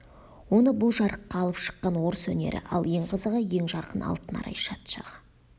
оны бұл жарыққа алып шыққан орыс өнері ал ең қызығы ең жарқын алтын арай шат шағы